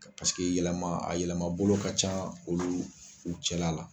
yɛlɛma a yɛlɛma bolo ka ca olu u cɛla la